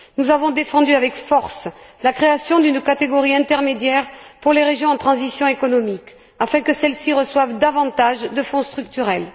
Nous avons défendu avec force la création d'une catégorie intermédiaire pour les régions en transition économique afin que celles ci reçoivent davantage de fonds structurels.